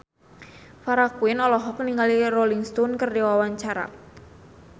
Farah Quinn olohok ningali Rolling Stone keur diwawancara